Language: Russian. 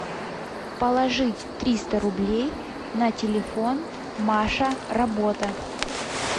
положить триста рублей на телефон маша работа